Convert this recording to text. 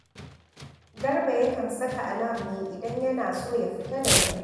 Garba yakan saka alam ne idan yana so ya fita da wuri